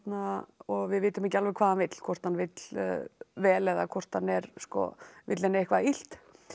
og við vitum ekki alveg hvað hann vill hvort hann vill vel eða hvort hann vill henni eitthvað illt